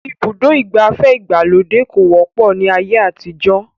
Ibùdó ìgbafẹ́ ìgbàlódé kò wọ́pọ̀ ní ayé àtijọ́